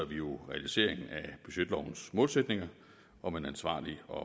vi jo realiseringen af budgetlovens målsætninger om en ansvarlig og